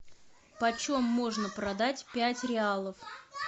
почем можно продать пять реалов